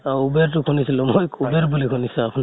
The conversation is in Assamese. অ uber টো শুনিছিলো মই, কুবেৰ বুলি শুনিছো